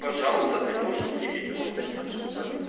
пожалуйста ты можешь выпить ты можешь точно также расслабиться